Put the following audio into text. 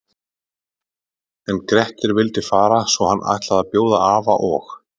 En Grettir vildi fara svo hann ætlaði að bjóða afa og